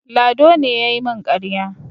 Lado ne ya yi min ƙarya.